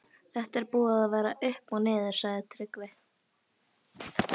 Þetta er búið að vera upp og niður, sagði Tryggvi.